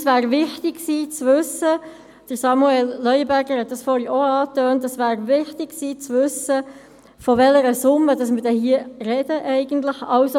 Es wäre wichtig gewesen zu wissen, wie es Samuel Leuenberger zuvor bereits angetönt hat, von welcher Summe wir hier eigentlich sprechen.